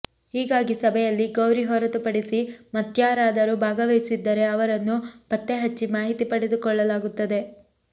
ಹೀಗಾಗಿ ಸಭೆಯಲ್ಲಿ ಗೌರಿ ಹೊರತುಪಡಿಸಿ ಮತ್ಯಾರಾದರೂ ಭಾಗವಹಿಸಿದ್ದರೇ ಅವರನ್ನು ಪತ್ತೆಹಚ್ಚಿ ಮಾಹಿತಿ ಪಡೆದುಕೊಳ್ಳಲಾಗುತ್ತದೆ